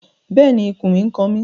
Bẹ́ẹ̀ni, ikùn mi n kan mi